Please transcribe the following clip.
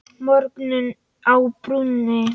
Morgunn á brúnni